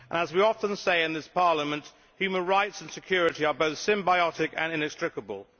As we often say in this Parliament, human rights and security are both symbiotic and inextricable.